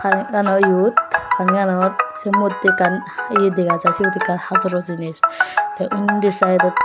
panigano eyot panianot sey moddey ekkan eye dega jai siot ekkan hajoro jinis tey undi saedot.